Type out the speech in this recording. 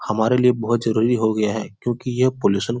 हमारे लिए बहोत जरुरी हो गया है क्योंकि ये पॉल्यूशन --